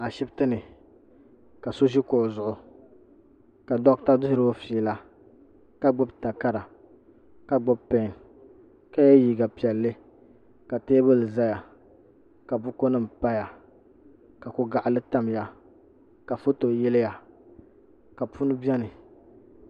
Ashibiti ni ka so ʒi kuɣu zuɣu ka doɣita diri o fiila ka gbubi takara ka gbubi peen ka ye liiga piɛlli ka teebuli zaya ka bukunima paya ka ko'gaɣili tamya ka foto yiliya ka punu beni.